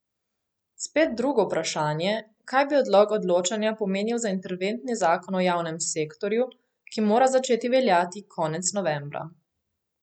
Spet drugo vprašanje, kaj bi odlog odločanja pomenil za interventni zakon o javnem sektorju, ki mora začeti veljati konec novembra.